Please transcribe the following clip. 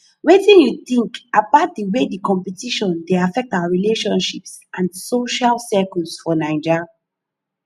wetin you think about di way competition dey affect our relationships and social circles for naija